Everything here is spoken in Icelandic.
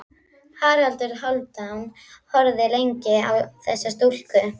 Haraldur Hálfdán horfði lengi á þessa stúlku.